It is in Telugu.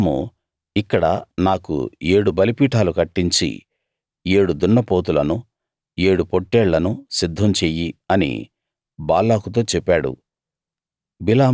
బిలాము ఇక్కడ నాకు ఏడు బలిపీఠాలు కట్టించి ఏడు దున్నపోతులను ఏడు పొట్టేళ్లను సిద్ధం చెయ్యి అని బాలాకుతో చెప్పాడు